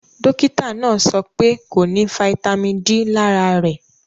Dọkìtà náà sọ̀ pẹ̀ kò ní fítamì D lárà rè